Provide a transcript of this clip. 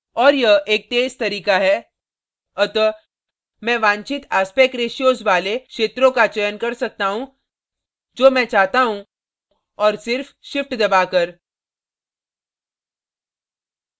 और यह एक तेज तरीका है अतः मैं वांछित aspect ratios वाले क्षेत्रों का चयन कर सकता हूँ जो मैं चाहता हूँ और सिर्फ shift दबाकर